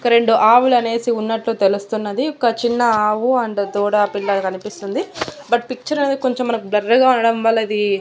రెండు ఆవులు అనేసి ఉన్నట్టు తెలుస్తున్నది ఒక చిన్న ఆవు అండ్ దూడ పిల్ల కనిపిస్తుంది బట్ పిక్చర్ అనేది కొంచం మనకు బ్లర్ గా ఉండడం వల్ల ఇది.